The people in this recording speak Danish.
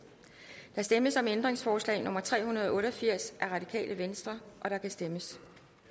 der stemmes om ændringsforslag nummer tre hundrede og otte og firs af rv og der kan stemmes